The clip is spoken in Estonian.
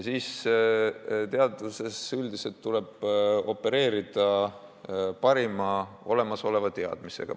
Teaduses üldiselt tuleb opereerida parima olemasoleva teadmisega.